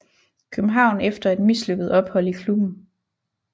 København efter et mislykket ophold i klubben